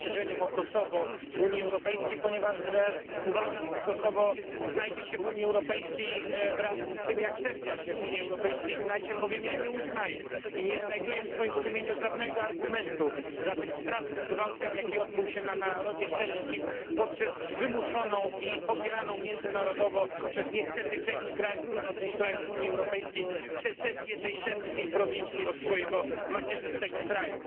rozszerzeniem o Kosowo Unii Europejskiej, ponieważ uważam, że Kosowo znajdzie się w Unii Europejskiej wraz z tym, jak Serbia się w Unii Europejskiej znajdzie, bowiem ja nie uznaję i nie znajduję w swoim sumieniu żadnego argumentu za tym strasznym gwałtem, jaki odbył się na narodzie serbskim poprzez wymuszoną i popieraną międzynarodowo przez niestety część krajów, dużą część krajów, Unii Europejskiej secesję tej serbskiej prowincji od swojego macierzystego kraju.